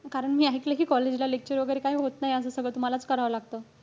कारण मी ऐकलंय कि, college ला lectures वगैरे काही होत नाही असं. सगळं तुम्हालाच करावं लागत.